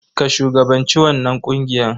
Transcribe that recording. Ka shugabanci wannan ƙungiya.